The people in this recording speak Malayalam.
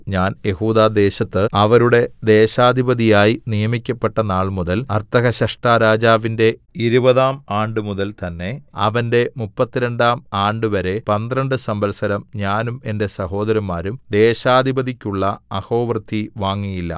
ഞാൻ യെഹൂദാദേശത്ത് അവരുടെ ദേശാധിപതിയായി നിയമിക്കപ്പെട്ട നാൾമുതൽ അർത്ഥഹ്ശഷ്ടാരാജാവിന്റെ ഇരുപതാം ആണ്ടുമുതൽ തന്നെ അവന്റെ മുപ്പത്തിരണ്ടാം ആണ്ടുവരെ പന്ത്രണ്ട് സംവത്സരം ഞാനും എന്റെ സഹോദരന്മാരും ദേശാധിപതിക്കുള്ള അഹോവൃത്തി വാങ്ങിയില്ല